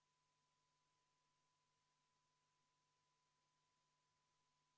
Tulemusega poolt 84, vastuolijaid ja erapooletuid ei olnud, on eelnõu seadusena vastu võetud.